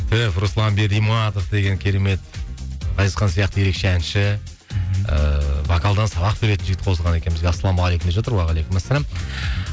руслан бериматов деген керемет ғазизхан сияқты ерекше әнші ыыы вокалдан сабақ беретін жігіт қосылған екен бізге ассалалаумағалейкум деп жатыр уағалейкумассалам